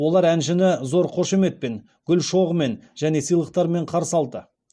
олар әншіні зор қошеметпен гүл шоғымен және сыйлықтарымен қарсы алды